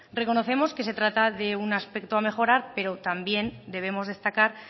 reconocemos que se trata de un aspecto a mejorar pero también debemos destacar